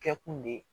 Kɛ kun de ye